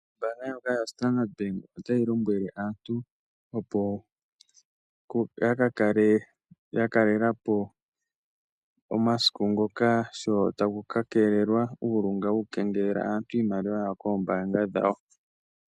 Oombaanga yoStandard Bank otayi lombwele aantu, opo ya ka kale ya kalela po omasiku ngoka sho taku ka keelelwa uulunga woku kengelela aantu iimaliwa yawo kombaanga dhawo.